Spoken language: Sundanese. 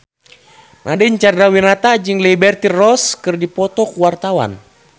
Nadine Chandrawinata jeung Liberty Ross keur dipoto ku wartawan